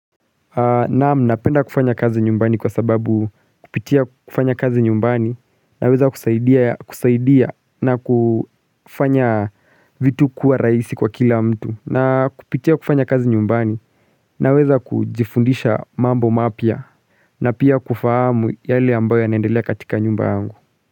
Naam napenda kufanya kazi nyumbani kwa sababu kupitia kufanya kazi nyumbani na weza kusaidia na kufanya vitu kuwa rahisi kwa kila mtu na kupitia kufanya kazi nyumbani naweza kujifundisha mambo mapya na pia kufahamu yale ambayo ya naendelea katika nyumba yangu.